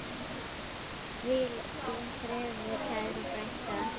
Hvíl í friði, kæra frænka.